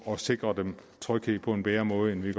og sikre dem tryghed på en bedre måde end vi